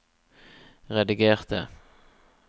redigerte